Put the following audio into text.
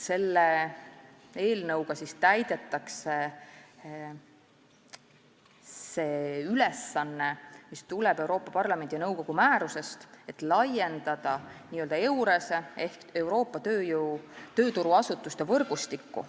Selle eelnõuga täidetakse ülesannet, mis tuleneb Euroopa Parlamendi ja nõukogu määrusest, et laiendada EURES-t ehk Euroopa tööturuasutuste võrgustikku.